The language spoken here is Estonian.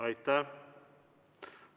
Aitäh!